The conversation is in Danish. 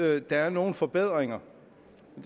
at der er nogle forbedringer